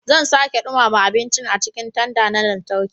Zan sake dumma abincin a cikin tanda na lantarki.